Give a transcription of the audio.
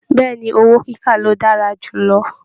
Bẹ̀ẹ́ni, owó kíkà lo dára jù lọ.